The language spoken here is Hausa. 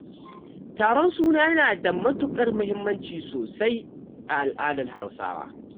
Taron suna yana da matuƙar muhimmanci sosai a al'adar Hausawa